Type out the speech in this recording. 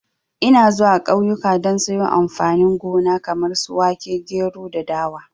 Ina zuwa kauyuka don sayo amfani gona kamar su wake, gero da dawa